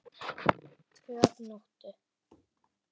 Tvö að nóttu